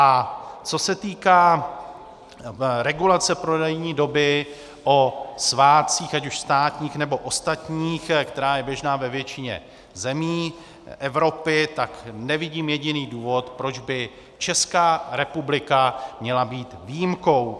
A co se týká regulace prodejní doby o svátcích, ať už státních, nebo ostatních, která je běžná ve většině zemí Evropy, tak nevidím jediný důvod, proč by Česká republika měla být výjimkou.